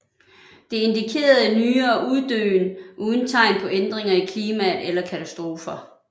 Det indikerede nyere uddøen uden tegn på ændringer i klimaet eller katastrofer